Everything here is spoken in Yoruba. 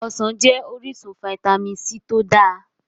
Ọsàn jẹ́ orísun Fitamin c tó dáa.